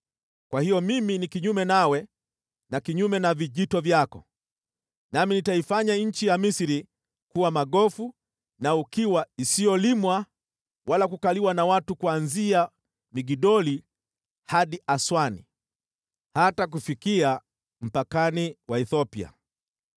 kwa hiyo mimi ni kinyume nawe na kinyume na vijito vyako, nami nitaifanya nchi ya Misri kuwa magofu na ukiwa isiyolimwa wala kukaliwa na watu kuanzia Migdoli hadi Aswani, hata kufikia mpakani wa Ethiopia.